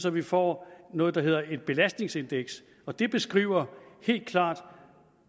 at vi får noget der hedder et belastningsindeks og det beskriver helt klart